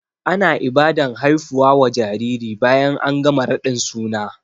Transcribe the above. Ana Ibadan haifuwa wa jariri bayan an gama raɗin suna